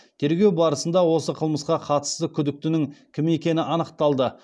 тергеу барысында осы қылмысқа қатысты күдіктінің кім екені анықталды